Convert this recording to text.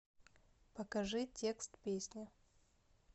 покажи текст песни